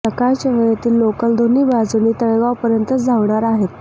सकाळच्या वेळेतील लोकल दोन्ही बाजूंनी तळेगावपर्यंतच धावणार आहेत